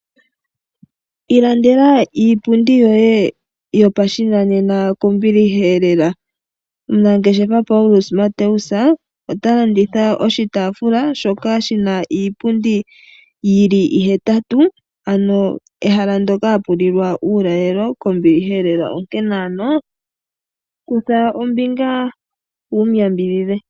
Ilandela iipundi yoye yopashinanena kombiliheelela. Omunangeshefa Paulus Mateus ota landitha oshitaafula shoka shina iipundi yili ihetatu ano ehala mpoka hapu lilwa uulalelo kombiliheelela, onkene ano kutha ombinga wumu yambidhidhe.